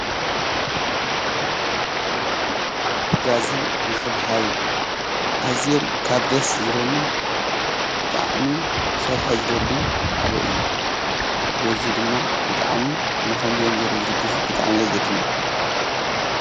ምሕጋዝን ምሕብሓብን ካብ ኣዝዩምካብ ደስ ዝብሉኒ ብጣዕሚ ክሰርሖ ዝደሊ ሓደ እዩ። በዘ ድማ ብጣዕሚ ንከምዚኦም ዝበሉ ዝድግፉ ብጣዕሚ ዘድንቅ።